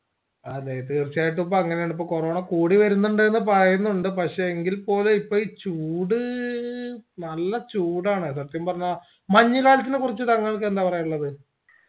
അതെ തീർച്ചയായിട്ടും ഇപ്പൊ അങ്ങനെയാണപ്പോ ഇപ്പൊ കൊറോണ കൂടി വേരുന്നുണ്ടന്ന എന്ന പറയുന്നുണ്ട് പക്ഷെ എങ്കിൽ പോലും ഇപ്പോൾ ഈ ചൂട് നല്ല ചൂടാണ് സത്യംപറഞ്ഞാ മഞ്ഞ് കാലത്തിനെ കുറച്ച് താങ്കൾക്ക് എന്താ പറയാനുള്ളത്